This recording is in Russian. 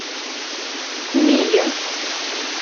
мия